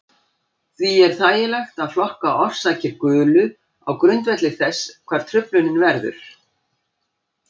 Því er þægilegt að flokka orsakir gulu á grundvelli þess hvar truflunin verður.